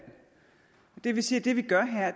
det vil sige at det vi gør her